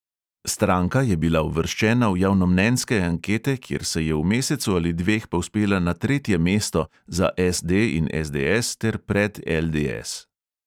Stranka je bila uvrščena v javnomnenjske ankete, kjer se je v mesecu ali dveh povzpela na tretje mesto (za SD in SDS ter pred LDS).